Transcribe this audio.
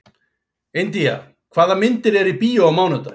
India, hvaða myndir eru í bíó á mánudaginn?